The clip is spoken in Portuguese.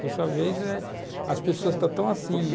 Por sua vez, eh as pessoas estão tão assim.